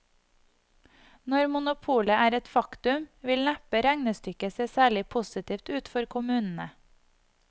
Når monopolet er et faktum, vil neppe regnestykket se særlig positivt ut for kommunene.